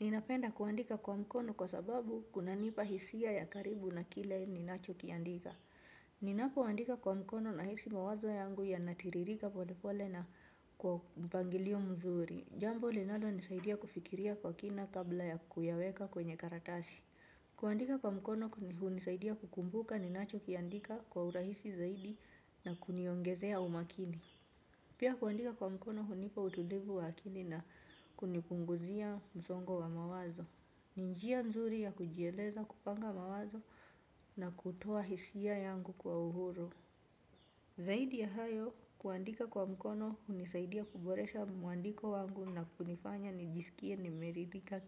Ninapenda kuandika kwa mkono, kwa sababu, kuna nipa hisia ya karibu na kile ninacho kiandika. Ninapoandika kwa mkono na hisi mawazo yangu yanatiririka pole pole na kwa mpangilio mzuri. Jambo linalo nisaidia kufikiria kwa kina kabla ya kuyaweka kwenye karatasi. Kuandika kwa mkono kuni hunisaidia kukumbuka ninacho kiandika, kwa urahisi zaidi na kuniongezea umakini. Pia, kuandika kwa mkono hunipa utulivu wa akili na kunipunguzia msongo wa mawazo. Ni njia nzuri ya kujieleza, kupanga mawazo na kutoa hisia yangu kwa uhuru. Zaidi ya hayo, kuandika kwa mkono, hunisaidia kuboresha mwandiko wangu, na kunifanya nijisikie nimeridhika